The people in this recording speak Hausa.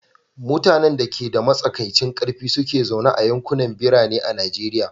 Mutanen da ke da matsakaicin ƙarfi su ke zaune a yankunan birane a Najeriya.